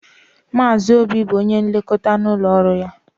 Maazị Obi bụ onye nlekọta n'ụlọọrụ ya.